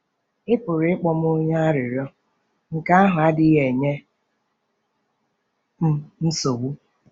“Ị pụrụ ịkpọ m onye arịrịọ; nke ahụ adịghị enye m nsogbu.